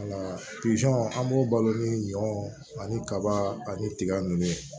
Wala pisɔn an b'o balo ni ɲɔ ani kaba ani tiga nunnu